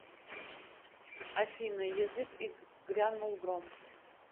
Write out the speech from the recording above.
афина язык и грянул гром